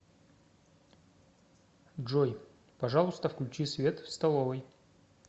джой пожалуйста включи свет в столовой